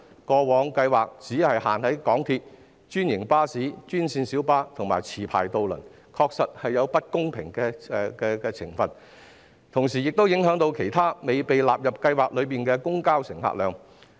該計劃過往只適用於港鐵、專營巴士、專線小巴及持牌渡輪，確實有不公平的情況，同時亦會影響其他未被納入計劃的公共交通的乘客量。